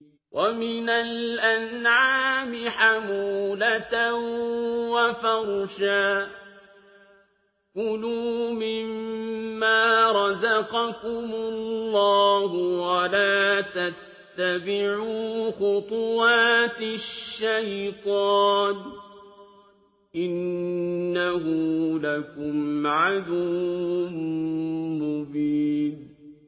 وَمِنَ الْأَنْعَامِ حَمُولَةً وَفَرْشًا ۚ كُلُوا مِمَّا رَزَقَكُمُ اللَّهُ وَلَا تَتَّبِعُوا خُطُوَاتِ الشَّيْطَانِ ۚ إِنَّهُ لَكُمْ عَدُوٌّ مُّبِينٌ